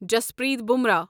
Jaspreet Bumrah